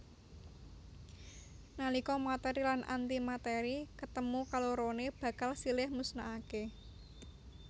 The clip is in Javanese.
Nalika matèri lan antimatèri ketemu kaloroné bakal silih musnahaké